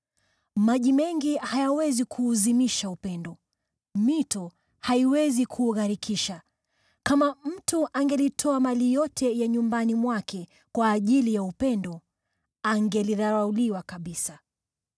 Maji mengi hayawezi kuuzimisha upendo, mito haiwezi kuugharikisha. Kama mtu angelitoa mali yote ya nyumbani mwake kwa ajili ya upendo, angelidharauliwa kabisa.